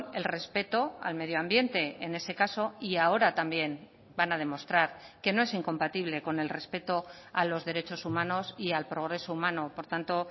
el respeto al medio ambiente en ese caso y ahora también van a demostrar que no es incompatible con el respeto a los derechos humanos y al progreso humano por tanto